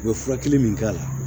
U bɛ furakɛli min k'a la